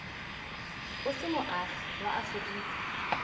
o se moagi wa aforika